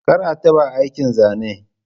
Kar a taɓa aikin zane.